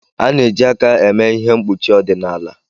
A na-eji aka eme ihe mkpuchi ọdịnala